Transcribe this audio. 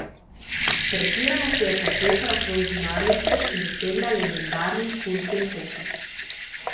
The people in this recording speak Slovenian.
Pretirano se je posvečala svoji zunanjosti in dosegla legendarni kult lepote.